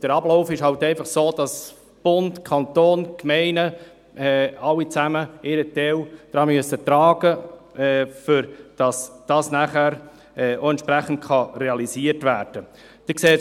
Der Ablauf ist halt einfach so, dass Bund, Kanton, Gemeinde, alle zusammen, ihren Teil dazu beitragen müssen, damit dies nachher auch entsprechend realisiert werden kann.